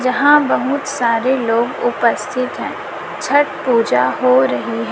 यहां बहुत सारे लोग उपस्थित हैं छठ पूजा हो रही है।